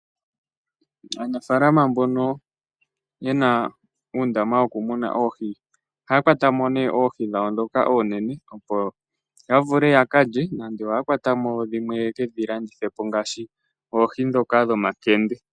Aanafaalama mbono ye na uundama wokumuna oohi ohaya kwata mo oohi dhawo ndhoka oonene opo ya vule ya ka lye nenge ya kwate mo dhimwe ye ke dhi landithe po ngaashi oohi ndhoka dhomakende.